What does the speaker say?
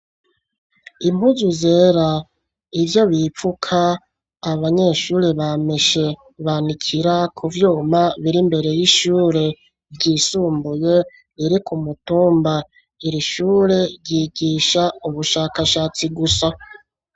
Impuzu zera, ivyo bipfuka, abanyeshure bameshe banikira ku vyuma biri imbere y'ishure ryisumbuye riri ku mutumba . Iri shure ryigisha ubushakashatsi gusa.